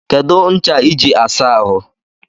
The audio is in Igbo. Kedu ncha I ji asa ahụ?